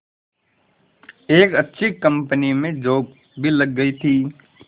एक अच्छी कंपनी में जॉब भी लग गई थी